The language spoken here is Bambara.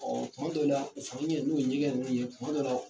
Ɔ tuma dɔw la u fana ɲɛ n'o ye ɲɛgɛn ninnu ye tuma dɔw la